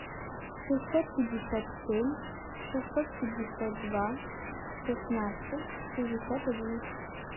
шестьсот пятьдесят семь шестьсот пятьдесят два шестнадцать шестьдесят один